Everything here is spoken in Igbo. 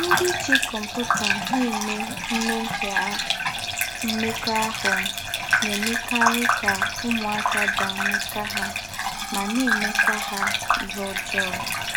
“Ndí́ jí kọ́mpútà èmè mmẹ́mhíè mmékọ́ahụ́” nà-èmèkarì kà ứmụ́áká dàạ̀ n’áká há mà nà-èmékwá há íhè ǒjọọ́.